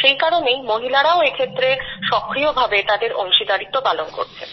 সেই কারণেই মহিলারাও এক্ষেত্রে সক্রিয় ভাবে তাদের অংশীদারিত্ব পালন করছেন